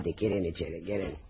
Haydı, girin içəri, girin.